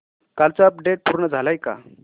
कालचं अपडेट पूर्ण झालंय का